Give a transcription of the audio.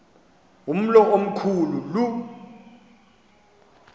umlo omkhu lu